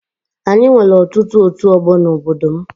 Anyị nwere ọtụtụ ọtu ọgbọ n'obodo m